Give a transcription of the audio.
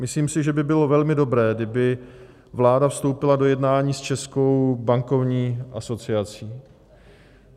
Myslím si, že by bylo velmi dobré, kdyby vláda vstoupila do jednání s Českou bankovní asociací.